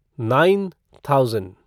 nine thousand